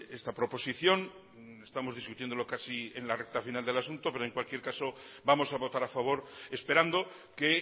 esta proposición estamos discutiéndolo casi en la recta final del asunto pero en cualquier caso vamos a votar a favor esperando que